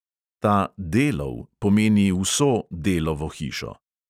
Ta "delov" pomeni vso delovo hišo.